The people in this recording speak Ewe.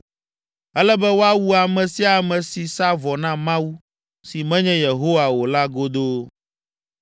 “Ele be woawu ame sia ame si sa vɔ na mawu, si menye Yehowa o la godoo.